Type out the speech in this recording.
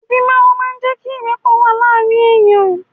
Ìfimawo máa ń jé kí ìrẹ́pọ̀ wà láàárín ẹ̀yà